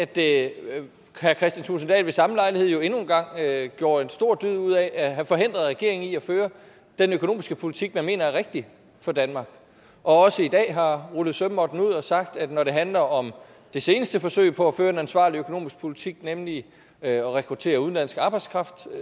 dahl ved samme lejlighed jo endnu en gang gjorde en stor dyd ud af at have forhindret regeringen i at føre den økonomiske politik den mener er rigtig for danmark også i dag har rullet sømmåtten ud og sagt at når det handler om det seneste forsøg på at føre en ansvarlig økonomisk politik nemlig at rekruttere udenlandsk arbejdskraft